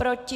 Proti?